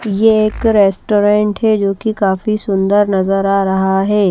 यह एक रेस्टोरेंट है जो कि काफी सुंदर नजर आ रहा है।